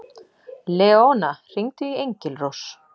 Leóna, hringdu í Engilrós.